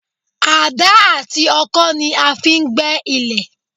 Àdá àti ọkọ́ ni a fi ń gbẹ́ ilẹ̀